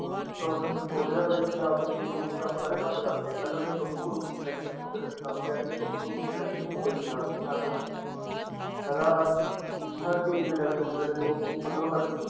Lawrence ਸੋਚ ਰਿਹਾ ਵੀ ਪੰਜਾਬ ਚ ਮੇੇਰੇ group ਗਰੱਪ ਸਾਰੇ ਬੰਦ ਕਰ ਦਿੱਤੇ ਪਹਿਲਾਂ ਸੋਪੂ group election ਹੋ ਪੰਜਾਬ ਚ ਆਹ ਗੱਲ ਪਹਿਲਾਂ ਹਰ ਚੀਜ਼ ਦੇ election ਹੁੰਦੇ ਸੀ ਸੋਪੂ ਮਤਲਬ ਹਰ